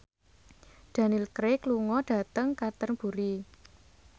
Daniel Craig lunga dhateng Canterbury